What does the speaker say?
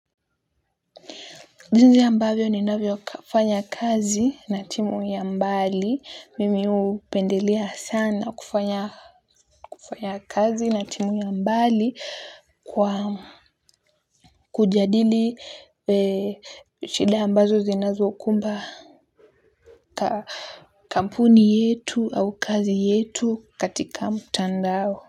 Jinsi ambavyo ninavyofanya kazi na timu ya mbali. Mimi hupendelea sana kufanya kazi na timu ya mbali kwa kujadili shida ambazo zinazokumba ka kampuni yetu au kazi yetu katika mtandao.